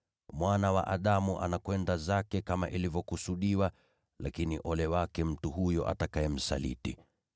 Mwana wa Adamu anaenda zake kama ilivyokusudiwa. Lakini ole wake mtu huyo amsalitiye.”